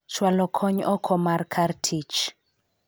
chwalo kony oko mar kar tich